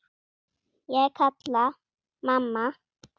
Ég kalla: Mamma!